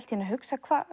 hugsaði